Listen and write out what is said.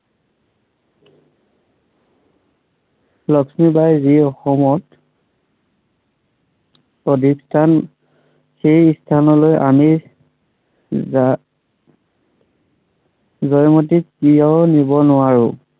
লক্ষ্মীবাঈ যি অসমত প্ৰতিষ্ঠান। সেই স্থানলৈ আমি আমি জয়মতীক কিয় নিব নোৱাৰো।